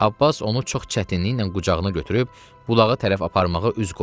Abbas onu çox çətinliklə qucağına götürüb bulağa tərəf aparmağa üz qoydu.